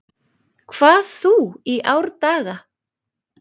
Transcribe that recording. hvað þú í árdaga